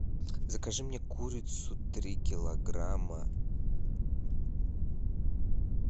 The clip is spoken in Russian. закажи мне курицу три килограмма